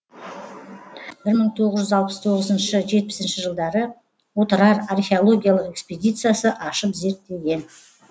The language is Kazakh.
бір мың тоғыз жүүз алпыс тоғызыншы жетпісінші жылдары отырар археологиялық экспедициясы ашып зерттеген